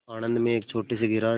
आणंद में एक छोटे से गैराज